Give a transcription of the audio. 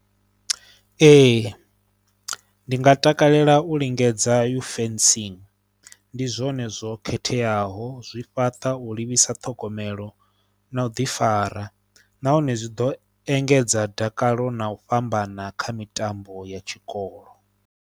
Ee ndi nga takalela u lingedza fencing ndi zwone zwo khetheaho zwi fhaṱa u livhisa ṱhogomelo na u ḓifara nahone zwi ḓo engedza dakalo na u fhambana kha mitambo ya tshikolo.